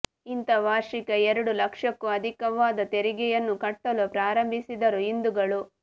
ಇತ್ತ ವಾರ್ಷಿಕ ಎರಡು ಲಕ್ಷಕ್ಕೂ ಅಧಿಕವಾದ ತೆರಿಗೆಯನ್ನು ಕಟ್ಟಲು ಪ್ರಾರಂಭಿಸಿದರು ಹಿಂದೂಗಳು